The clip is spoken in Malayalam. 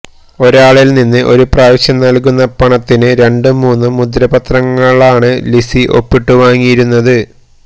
ഒരാളില് നിന്ന് ഒരു പ്രാവശ്യം നല്കുന്ന പണത്തിന് രണ്ടും മൂന്നും മുദ്രപത്രങ്ങളാണ് ലിസി ഒപ്പിട്ടു വാങ്ങിയിരുന്നത്